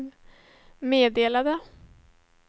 meddelade